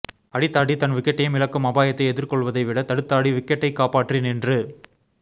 அடித்தாடி தன் விக்கெட்டையும் இழக்கும் அபாயத்தை எதிர்கொள்வதைவிட தடுத்தாடி விக்கெட்டை காப்பாற்றி நின்று